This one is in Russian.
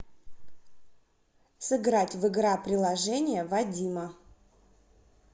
сыграть в игра приложение вадима